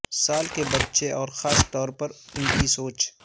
سال کے بچے اور خاص طور پر ان کی سوچ